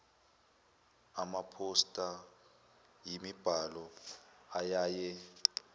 amaphosta yimibhalo eyaye